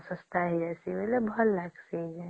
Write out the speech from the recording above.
ହଁ ଶସ୍ତା ହେଇ ଆସିବା ଵିଵାଲେ ଭଲ ଲାଗିଁସେ